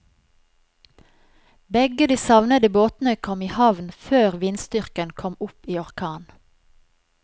Begge de savnede båtene kom i havn før vindstyrken kom opp i orkan.